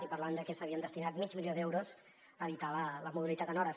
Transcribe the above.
i parlàvem de que s’havia destinat mig milió d’euros a evitar la mobilitat en hores